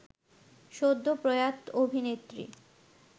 সদ্য প্রয়াত অভিনেত্রী